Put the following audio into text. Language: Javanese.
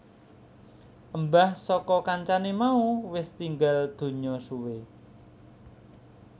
Embah saka kancané mau wis tinggal donya suwe